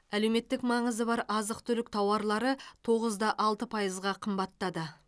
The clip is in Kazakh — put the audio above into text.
әлеуметтік маңызы бар азық түлік тауарлары тоғыз да алты пайызға қымбаттады